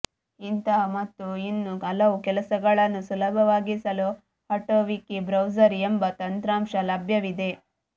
ಇಂತಹ ಮತ್ತು ಇನ್ನೂ ಹಲವು ಕೆಲಸಗಳನ್ನು ಸುಲಭವಾಗಿಸಲು ಅಟೋವಿಕಿಬ್ರೌಸರ್ ಎಂಬ ತಂತ್ರಾಂಶ ಲಭ್ಯವಿದೆ